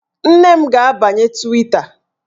Nne m ga-abanye Twita